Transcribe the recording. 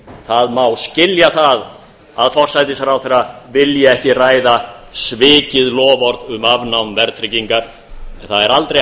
það má skilja það að forsætisráðherra vilji ekki ræða svikið loforð um afnám verðtryggingar en það er aldrei